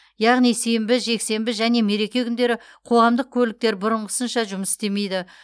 яғни сенбі жексенбі және мереке күндері қоғамдық көліктер бұрынғысынша жұмыс істемейді